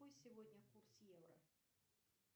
какой сегодня курс евро